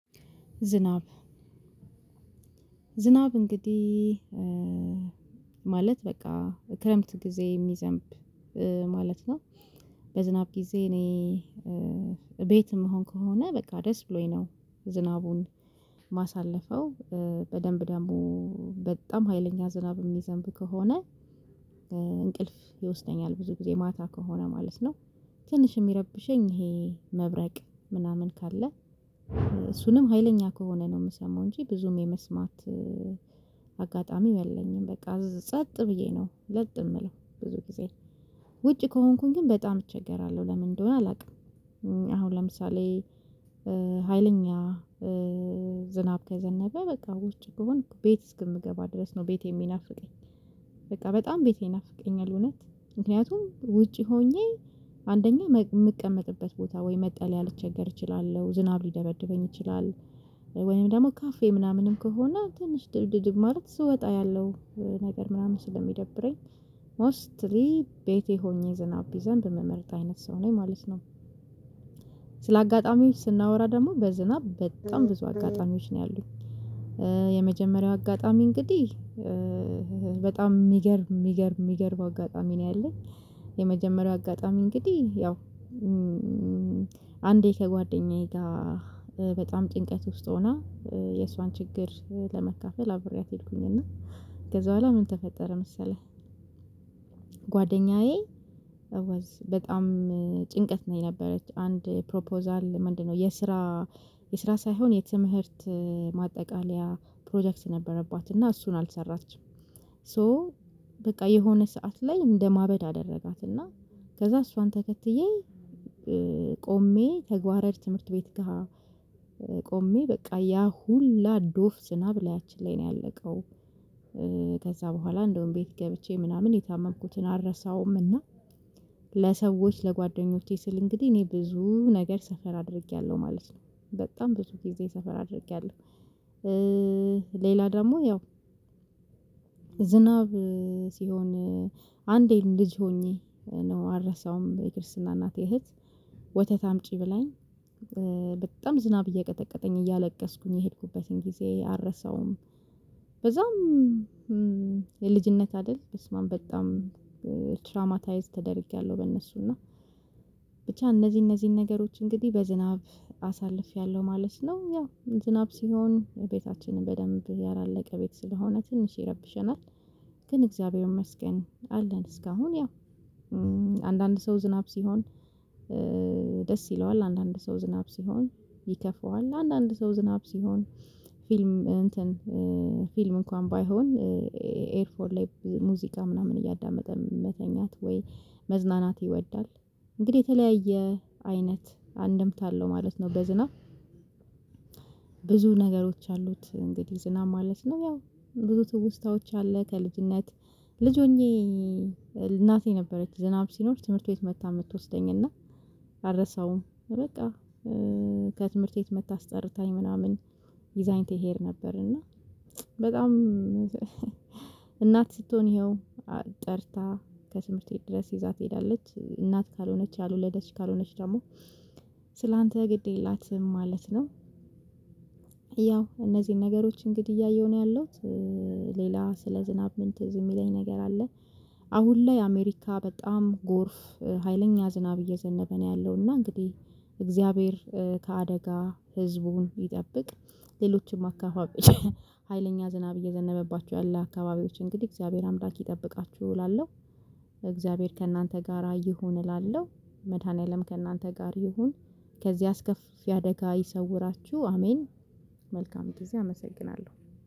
ዝናብ ዝናብ እንግዲህ ማለት በቃ ክረምት ጊዜ የሚዘንብ ማለት ነው። በዝናብ ጊዜ እኔ ቤት የምሆን ከሆነ በቃ ደስ ብሎኝ ነው። ዝናቡን ማሳለፈው በደንብ ደግሞ በጣም ሀይለኛ ዝናብ የሚዘንብ ከሆነ። እንቅልፍ ይወስደኛል ብዙ ጊዜ ማታ ከሆነ ማለት ነው። ትንሽ የሚረብሸኝ ይሄ መብረቅ ምናምን ካለ እሱንም ሀይለኛ ከሆነ ነው የምሰማው እንጂ ብዙም የመስማት አጋጣሚ የለኝም። በቃ ጸጥ ብዬ ነው ለጥ የምለው ብዙ ጊዜ ውጭ ከሆንኩኝ ግን በጣም እቸገራለሁ ለምን እንደሆነ አላውቅም። አሁን ለምሳሌ ሀይለኛ ዝናብ ከዘነበ በቃ ውስጭ ብሆን ቤት እስከምገባ ድረስ ነው ቤቴ የሚናፍቀኝ በቃ በጣም ቤቴ ይናፍቀኛል። እውነት ምክንያቱም ውጪ ሆኜ አንደኛ የምቀመጥበት ቦታ ወይ መጠለያ ልቸገር እችላለሁ ዝናብ ሊደበድበኝ ይችላል። ወይም ደግሞ ካፌ ምናምንም ከሆነ ትንሽ ድልድድል ማለት ስወጣ ያለው ነገር ምናምን ስለሚደብረኝ ሞስትሊ ቤቴ ሆኜ ዝናብ ቢዘንብ እምመረጥ አይነት ሰው ነኝ ማለት ነው። ስለአጋጣሚው ስናወራ ደግሞ በዝናብ በጣም ብዙ አጋጣሚዎች ነው ያሉኝ የመጀመሪያው አጋጣሚ እንግዲህ በጣም የሚገርም የሚገርም የሚገርም አጋጣሚ ነው ያለኝ። የመጀመሪያ አጋጣሚ እንግዲህ ያው አንዴ ከጓደኛዬ ጋር በጣም ጭንቀት ውስጥ ሆና የሷን ችግር ለመካፈል አብሬያት ሄድኩኝ እና ከዛ በኋላ ምን ተፈጠረ መሰለህ? ጓደኛዬ በጣም ጭንቀት ነበረች አንድ ፕሮፖዛል ምንድነው የስራ የስራ ሳይሆን የትምህርት ማጠቃለያ ፕሮጀክት ነበረባት እና እሱን አልሰራችም። ሶ በቃ የሆነ ሰዓት ላይ እንደማበድ አደረጋትና ከዛ እሷን ተከትዬ ቆሜ ተግባር ዕድ ትምህርት ቤት ጋር ቆሜ በቃ ያ ሁላ ዶፍ ዝናብ ላያችን ላይ ነው ያለቀው። ከዛ በኋላ እንደውም ቤት ገብቼ ምናምን የታመንኩትን አልረሳውም። እና ለሰዎች ለጓደኞቼ ስል እንግዲህ እኔ ብዙ ነገር ሰፈር አድርጌያለሁ ማለት ነው በጣም ብዙ ጊዜ ሰፈር አድርጌያለሁ። ሌላ ደግሞ ያው ዝናብ ሲሆን አንዴ ልጅ ሆኜ ነው አልረሳውም የክርስትና እናቴ እህት ወተት አምጪ ብላኝ በጣም ዝናብ እየቀጠቀጠኝ እያለቀስኩኝ የሄድኩበትን ጊዜ አልረሳውም። በዛም የልጅነት አይደል በስማም በጣም ትራማታይዝ ተደርጌያለሁ በእነሱ እና ብቻ እነዚህ እነዚህን ነገሮች እንግዲህ በዝናብ አሳልፌያለሁ ማለት ነው። ያው ዝናብ ሲሆን ቤታችንን በደንብ ያላለቀ ቤት ስለሆነ ትንሽ ይረብሸናል። ግን እግዚአብሔር ይመስገን አለን እስካሁን ያው አንዳንድ ሰው ዝናብ ሲሆን ደስ ይለዋል አንዳንድ ሰው ዝናብ ሲሆን ይከፋዋል አንዳንድ ሰው ዝናብ ሲሆን ፊልም እንትን ፊልም እንኳን ባይሆን ኤርፎን ላይ ሙዚቃ ምናምን እያዳመጠ መተኛት ወይ መዝናናት ይወዳል እንግዲህ የተለያየ አይነት አንድምታ አለው ማለት ነው። በዝናብ ብዙ ነገሮች አሉት እንግዲህ ዝናብ ማለት ነው ያው ብዙ ትውስታዎች አለ ከልጅነት ልጅ ሆኜ እናቴ ነበረች ዝናብ ሲኖር ትምህርት ቤት መጥታ የምትወስደኝ እና አልረሳውም። በቃ ከትምህርት ቤት መጥታ አስጠርታኝ ምናምን ይዛኝ ትሄድ ነበር እና በጣም እናት ስትሆን ይኸው ጠርታ ከትምህር ቤት ድረስ ይዛ ትሄዳለች እናት ካልሆነች ያልወለደች ካልሆነች ደግሞ ስላንተ ግድ የላትም ማለት ነው። ያው እነዚህን ነገሮች እንግዲህ እያየሁ ነው ያለሁት። ሌላ ስለ ዝናብ ምን ትዝ የሚለኝ ነገር አለ? አሁን ላይ አሜሪካ በጣም ጎርፍ ሀይለኛ ዝናብ እየዘነበ ነው ያለው እና እንግዲህ እግዚአብሔር ከአደጋ ህዝቡን ይጠብቅ ሌሎችም አካባቢ ሀይለኛ ዝናብ እየዘነበባችሁ ያለ አካባቢዎች እንግዲህ እግዚአብሔር አምዳች ይጠብቃችሁ እላለሁ። እግዚአብሔር ከእናንተ ጋራ ይሁን እላለሁ። መድኃኒዓለም ከእናንተ ጋር ይሁን። ከዚህ አስከፊ አደጋ ይሰውራችሁ አሜን። መልካም ጊዜ አመሰግናለሁ